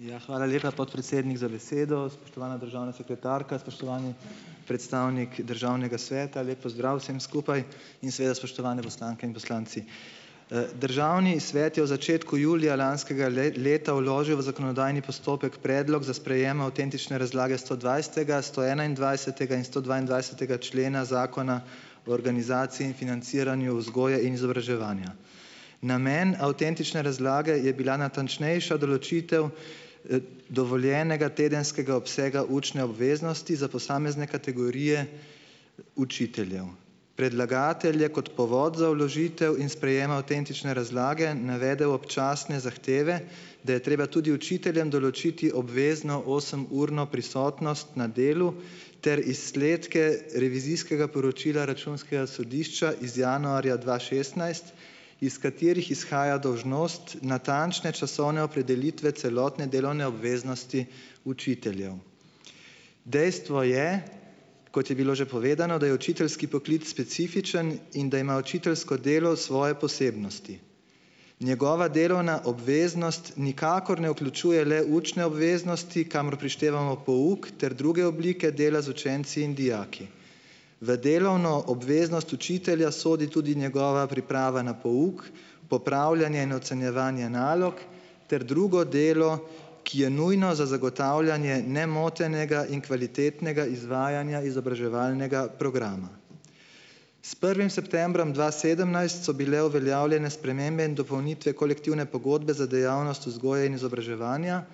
Ja, hvala lepa, podpredsednik, za besedo. Spoštovana državna sekretarka, spoštovani predstavnik Državnega sveta, lep pozdrav vsem skupaj in seveda spoštovane poslanke in poslanci! Državni svet je v začetku julija lanskega leta vložil v zakonodajni postopek predlog za sprejem avtentične razlage stodvajsetega, stoenaindvajsetega in stodvaindvajsetega člena Zakona o organizaciji in financiranju vzgoje in izobraževanja. Namen avtentične razlage je bila natančnejša določitev dovoljenega tedenskega obsega učne obveznosti za posamezne kategorije učiteljev. Predlagatelj je kot povod za vložitev in sprejem avtentične razlage navedel občasne zahteve, da je treba tudi učiteljem določiti obvezno osemurno prisotnost na delu ter izsledke revizijskega poročila Računskega sodišča iz januarja dva šestnajst, iz katerih izhaja dolžnost natančne časovne opredelitve celotne delovne obveznosti učiteljev. Dejstvo je, kot je bilo že povedano, da je učiteljski poklic specifičen in da ima učiteljsko delo svoje posebnosti. Njegova delovna obveznost nikakor ne vključuje le učne obveznosti, kamor prištevamo pouk ter druge oblike dela z učenci in dijaki. V delovno obveznost učitelja sodi tudi njegova priprava na pouk, popravljanje in ocenjevanje nalog ter drugo delo, ki je nujno za zagotavljanje nemotenega in kvalitetnega izvajanja izobraževalnega programa. S prvim septembrom dva sedemnajst so bile uveljavljene spremembe in dopolnitve kolektivne pogodbe za dejavnost vzgoje in izobraževanja,